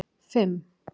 fimm